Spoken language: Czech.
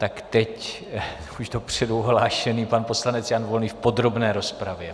Tak teď už dopředu ohlášený pan poslanec Jan Volný v podrobné rozpravě.